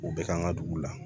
U bɛ ka an ka dugu la